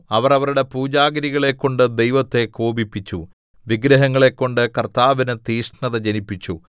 അവർ അവരുടെ പൂജാഗിരികളെക്കൊണ്ട് ദൈവത്തെ കോപിപ്പിച്ചു വിഗ്രഹങ്ങളെക്കൊണ്ട് കർത്താവിന് തീക്ഷ്ണത ജനിപ്പിച്ചു